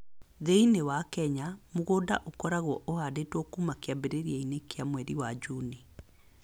Thĩinĩ wa Kenya, mũgũnda ũkoragwo ũhaandĩtwo kuuma kĩambĩrĩria-inĩ kĩa mweri wa Juni